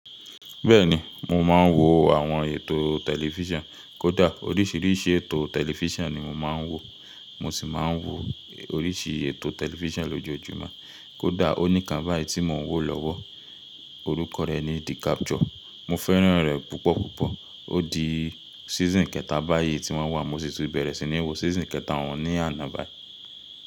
Bẹẹ ni, mo máa n wo àwọn ètò tẹlifisan, kódà oríṣiríṣi ètò tẹlifíṣàn ni mo máa ń wò, mo sì máa ń wo oríṣi ètò tẹlifíṣàn lójoojúmọ́. Kódà ó ní kan báyìí tí mò ń wò lọ́wọ́, orúkọ rẹ̀ ni The Capture. Mo fẹ́ràn rẹ̀ púpọ̀púpọ̀. Ó di season kẹta báyìí tí wọ́n wà. Mo sì ti bẹ̀rẹ̀ sí ní wo season kẹta òun ní àná báyìí.